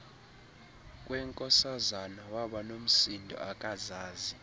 kwenkosazana wabanomsindo akazazi